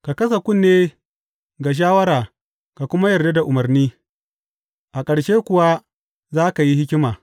Ka kasa kunne ga shawara ka kuma yarda da umarni, a ƙarshe kuwa za ka yi hikima.